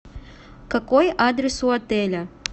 какой адрес у отеля